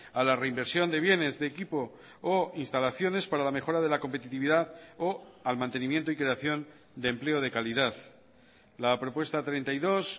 a la reinversión de bienes de equipo o instalaciones para la mejora de la competitividad o al mantenimiento y creación de empleo de calidad la propuesta treinta y dos